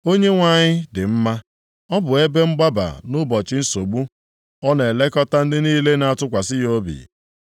Onyenwe anyị dị mma. Ọ bụ ebe mgbaba nʼụbọchị nsogbu. Ọ na-elekọta ndị niile na-atụkwasị ya obi,